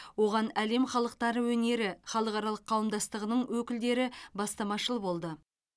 оған әлем халықтары өнері халықаралық қауымдастығының өкілдері бастамашыл болды